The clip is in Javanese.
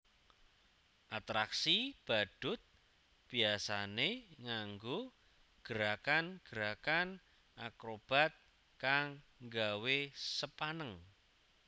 Atraksi badhut biyasané nganggo gerakan gerakan akrobat kang nggawé sepaneng